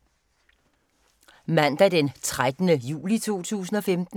Mandag d. 13. juli 2015